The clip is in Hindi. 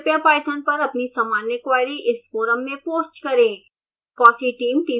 कृपया पाइथन पर अपनी सामान्य क्वेरी इस फोरम में पोस्ट करें